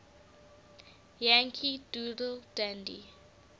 yankee doodle dandy